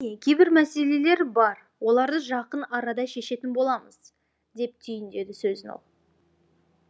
кейбір мәселелер бар оларды жақын арада шешетін боламыз деп түйіндеді сөзін ол